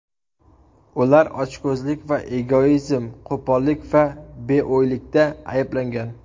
Ular ochko‘zlik va egoizm, qo‘pollik va beo‘ylikda ayblangan.